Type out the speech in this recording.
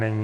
Není.